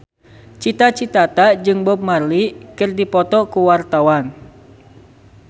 Cita Citata jeung Bob Marley keur dipoto ku wartawan